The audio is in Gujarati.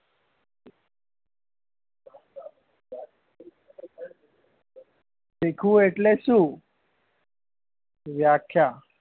શીખવું એટલે શું વ્યાખ્યા